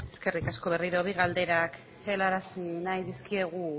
eskerrik asko berriro bi galdera helarazi nahi dizkiegu